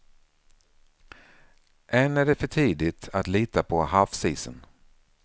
Än är det för tidigt att lita på havsisen.